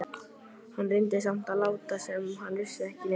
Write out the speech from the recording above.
Hann reyndi samt að láta sem hann vissi ekki neitt.